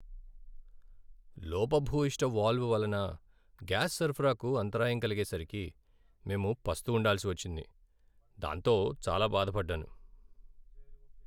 లోపభూయిష్ట వాల్వ్ వలన గ్యాస్ సరఫరాకు అంతరాయం కలిగేసరికి మేం పస్తు ఉండాల్సి వచ్చింది, దాంతో చాలా బాధపడ్డాను.